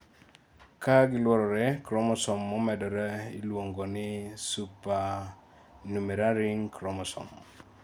ka giluorore, chromosome momedore iluongo ni supernumeraryring chromosome